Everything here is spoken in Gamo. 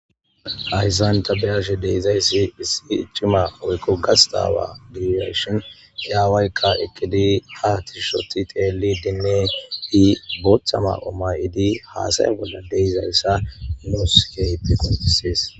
Hayssan tabeyashe deizayssi issi iccima woykko gastawa diyashon yaawaykka ekidi ha tishshoti teeli dinne i boothama omay idi haasay bolla deizayssa nouskepi qonfissis.